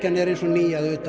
er eins og ný að utan